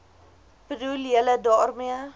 bedoel julle daarmee